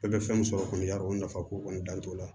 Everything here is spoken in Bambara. Bɛɛ bɛ fɛn min sɔrɔ kɔni y'a o nafa ko kɔni dan t'o la